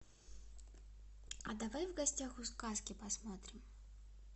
а давай в гостях у сказки посмотрим